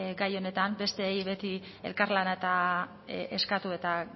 gai honetan besteei beti elkarlana eskatu eta